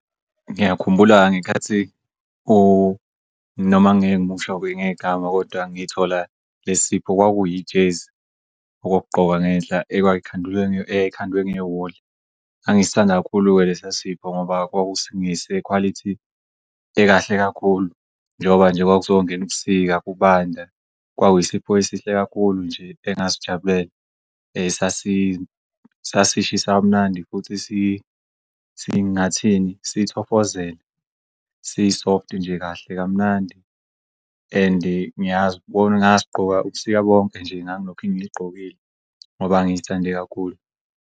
Ngiyakhumbula ngenkathi noma ngeke ngimusho-ke ngegama ngithola lesipho kwakuyijezi okokugqoka ngehla eyayikhandwe ngewuli. Ngangisithanda kakhulu-ke lesiya sipho ngoba kwakungese khwalithi ekahle kakhulu njengoba nje kwakuzong'ubusika kubanda kwakuyisipho esihle kakhulu nje engasijabulela sasishisa kamnandi futhi ngingathini sithofozela, si-soft nje kahle kamnandi and ngasigqoka ubusika bonke nje ngangilokhe ngiligqokile ngoba ngizithande kakhulu.